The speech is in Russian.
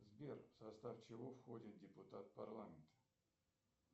сбер в состав чего входит депутат парламента